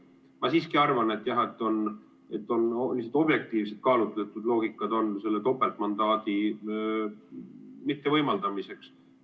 Ma siiski arvan, et on objektiivselt kaalutletud loogika topeltmandaadi mittevõimaldamiseks.